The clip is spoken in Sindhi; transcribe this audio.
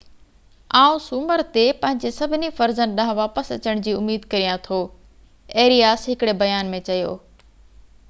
آئون سومر تي پنھنجي سڀني فرضن ڏانھن واپس اچڻ جي اميد ڪريان ٿو ايرياس ھڪڙي بيان ۾ چيو